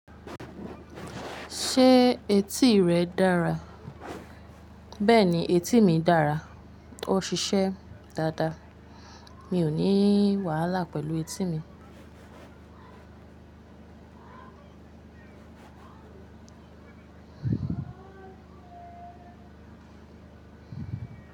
Ṣé etí rẹ dára? Bẹ́ẹ̀ni etí mi dára. Ó ṣiṣẹ́ dáadáa. Mi ò ní wàhálà pẹ̀lú etí mi.